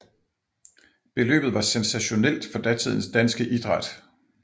Beløbet var sensationelt for datidens danske idræt